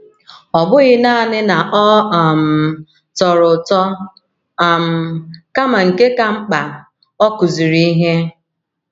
Ọ bụghị nanị na ọ um tọrọ ụtọ, um kama nke ka mkpa, ọ kụziri ihe.